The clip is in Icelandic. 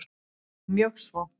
Jú, mjög svo.